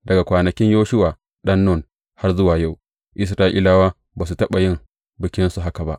Daga kwanakin Yoshuwa ɗan Nun har yă zuwa yau, Isra’ilawa ba su taɓa yin bikinsa haka ba.